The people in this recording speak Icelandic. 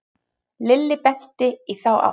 Lilli benti í þá átt.